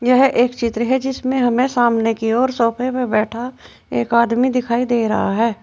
यह एक चित्र है जिसमें हमें सामने की ओर सोफे पे बैठा एक आदमी दिखाई दे रहा है।